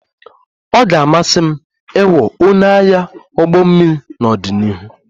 Ọ ga-amasị m ịghọ onye agha ụgbọ mmiri n'ọdịnihu